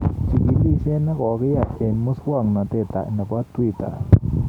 Chikilisyet ne kogiyai eng musoknotet nebo twitter